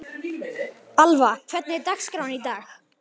Alva, hvernig er dagskráin í dag?